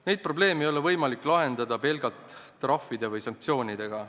Neid probleeme ei ole võimalik lahendada pelgalt trahvide või muude sanktsioonidega.